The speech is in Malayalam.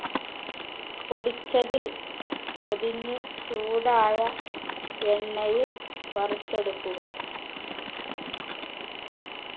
പൊടിച്ചതിൽ പൊതിഞ്ഞ് ചൂടായ എണ്ണയിൽ വറുത്തെടുക്കുക